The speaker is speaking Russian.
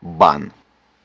в бан